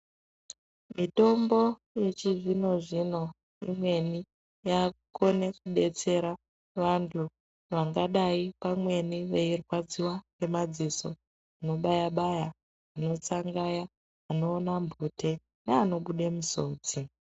Mitombo yechizvino zvino imweni yakukona kudetsera vantu vangadai pamweni veirwadziwa ngemadziso anobaya baya, anotsangaya, anoona mhute neanobuda musodzi.